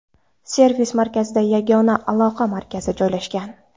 Servis-markazida yagona aloqa markazi joylashgan.